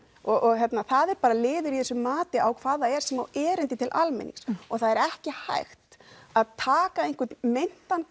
og það er bara liður í þessu mati á hvað það er sem á erindi til almennings og það er ekki hægt að taka meintan